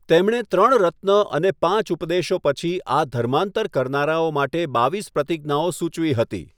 તેમણે ત્રણ રત્ન અને પાંચ ઉપદેશો પછી આ ધર્માંતર કરનારાઓ માટે બાવીસ પ્રતિજ્ઞાઓ સૂચવી હતી.